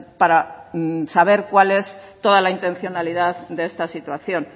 para saber cuál es toda la intencionalidad de esta situación